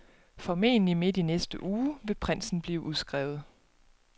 Formentlig midt i næste uge vil prinsen blive udskrevet.